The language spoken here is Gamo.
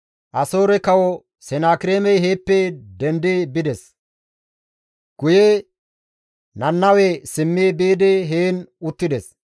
Asoore kawo Senakireemey heeppe dendi bides; guye Nannawe simmi biidi heen uttides.